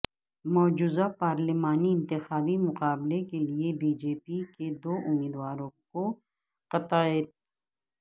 مجوزہ پارلیمانی انتخابی مقابلے کیلئے بی جے پی کے دو امیدواروں کو قطعیت